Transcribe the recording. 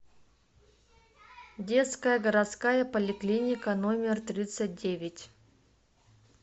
детская городская поликлиника номер тридцать девять